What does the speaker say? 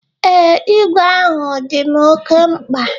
Ee, igwe ahụ dị m oke mkpa.